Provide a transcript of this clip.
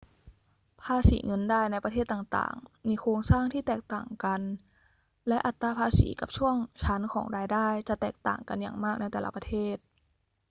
ภาษีเงินได้ในประเทศต่าง ๆ มีโครงสร้างที่แตกต่างกัน และอัตราภาษีกับช่วงชั้นของรายได้จะแตกต่างกันอย่างมากในแต่ละประเทศ